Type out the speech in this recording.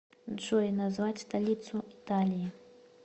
джой назвать столицу италии